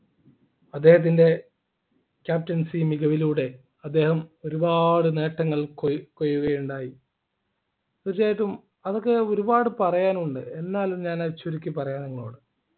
അദ്ദേഹത്തിൻ്റെ captaincy മികവിലൂടെ അദ്ദേഹം ഒരുപാട് നേട്ടങ്ങൾ കൊയ് കൊയ്യുകയുണ്ടായി തീർച്ചയായിട്ടും അതൊക്കെ ഒരുപാട് പറയാനുണ്ട് എന്നാലും ഞാൻ അത് ചുരുക്കി പറയാം